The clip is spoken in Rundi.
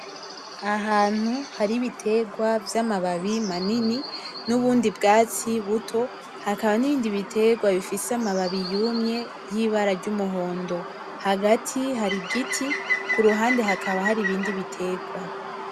Ahantu hari ibitegwa vyamababi manini nubundi bwatsi buto hakaba nibindi bitegwa bifise amababi yumye yibara ryumuhondo hagati hari igiti kuruhande hakaba haribindi bitegwa.